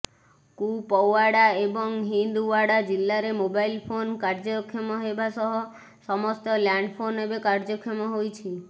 କୁପୱାଡା ଏବଂ ହିନ୍ଦୱାଡା ଜିଲ୍ଲାରେ mobile phone କାର୍ଯ୍ୟକ୍ଷମ ହେବା ସହ ସମସ୍ତ ଲ୍ୟାଣ୍ଡଫୋନ୍ ଏବେ କାର୍ଯ୍ୟକ୍ଷମ ହୋଇଛି